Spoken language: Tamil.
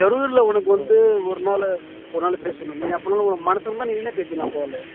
ஜரூர்ல உனக்கு வந்து ஒரு நாள் ஒரு நாள் பேசணும் அப்போ உனக்கு மனசு வந்தா நீனே பேசிக்கலாம் call